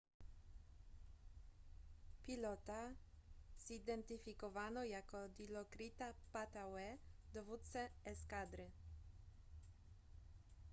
pilota zidentyfikowano jako dilokrita pattavee dowódcę eskadry